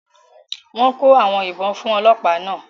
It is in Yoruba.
Wọ́n kó àwọn ìbọn fún ọlọ́pàá náà